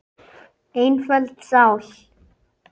Einföld sál.